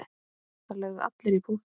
Það lögðu allir í púkkið.